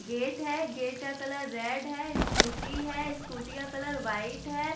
Gate है gate का colour red है स्कूटी है स्कूटी का कलर व्हाइट है।